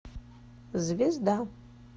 звезда